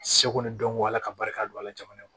Seko ni dɔnko ala ka barika don a la jamana kɔnɔ